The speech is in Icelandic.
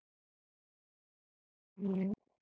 Jæja, mamma mín.